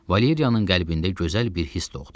Valeriyanın qəlbində gözəl bir hiss doğdu.